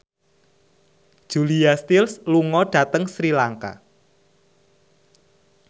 Julia Stiles lunga dhateng Sri Lanka